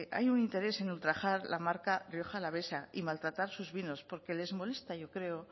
hay un interés en ultrajar la marca rioja alavesa y maltratar sus vinos porque les molesta yo creo